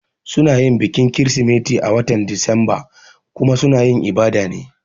Suna yin bikin kirisimeti a watan Disamba kuma suna yin ibada ne